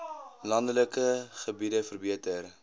landelike gebiede verbeter